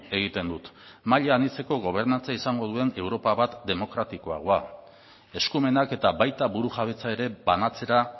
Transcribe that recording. egiten dut maila anitzeko gobernantza izango duen europa bat demokratikoagoa eskumenak eta baita burujabetza ere banatzera